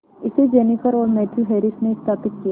इसे जेनिफर और Matthew Harris ने स्थापित किया